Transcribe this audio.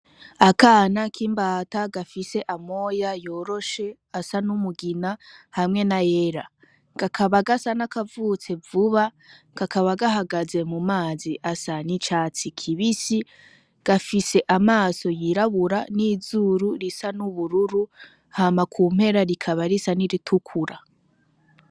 Akana k'imbata gafise amoya yoroshe asa n'umugina hamwe n'ayera kakaba gasa n'akavutse vuba kakaba gahagaze mumazi asa n'icatsi kibisi gafise amaso y'irabura n'izuru risa n'ubururu hama kumpera rikaba risa n'iritukura